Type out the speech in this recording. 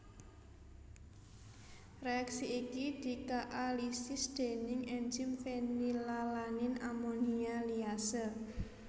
Reaksi iki dikaalisis déning enzim fenilalanin amonia liase